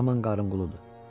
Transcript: Yaman qarınquludur.